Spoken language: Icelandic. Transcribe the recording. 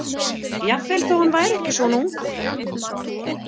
Jafnvel þótt hann væri ekki svona ungur.